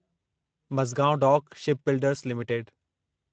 Mazagon dock shipbuilders limited